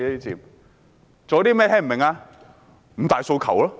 不就是五大訴求嘛！